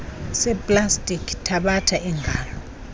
seplastiki thatha ingalo